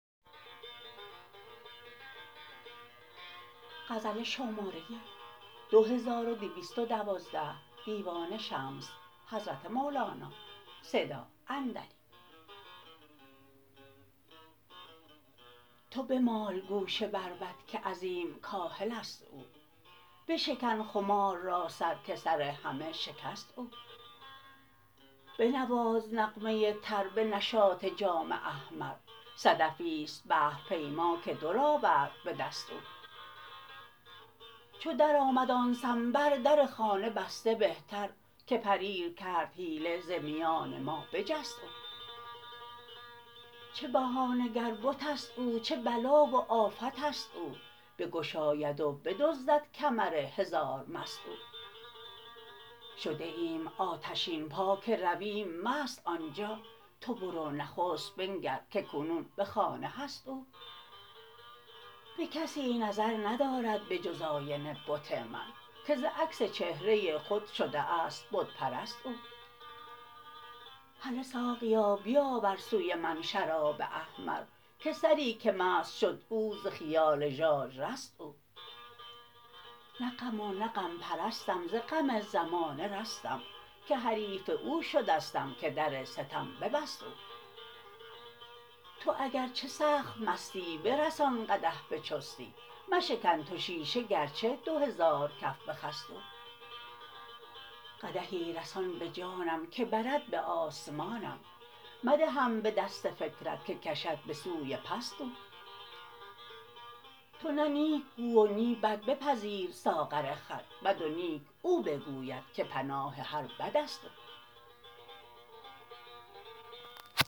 تو بمال گوش بربط که عظیم کاهل است او بشکن خمار را سر که سر همه شکست او بنواز نغمه تر به نشاط جام احمر صدفی است بحرپیما که در آورد به دست او چو درآمد آن سمن بر در خانه بسته بهتر که پریر کرد حیله ز میان ما بجست او چه بهانه گر بت است او چه بلا و آفت است او بگشاید و بدزدد کمر هزار مست او شده ایم آتشین پا که رویم مست آن جا تو برو نخست بنگر که کنون به خانه هست او به کسی نظر ندارد به جز آینه بت من که ز عکس چهره خود شده است بت پرست او هله ساقیا بیاور سوی من شراب احمر که سری که مست شد او ز خیال ژاژ رست او نه غم و نه غم پرستم ز غم زمانه رستم که حریف او شدستم که در ستم ببست او تو اگرچه سخت مستی برسان قدح به چستی مشکن تو شیشه گرچه دو هزار کف بخست او قدحی رسان به جانم که برد به آسمانم مدهم به دست فکرت که کشد به سوی پست او تو نه نیک گو و نی بد بپذیر ساغر خود بد و نیک او بگوید که پناه هر بد است او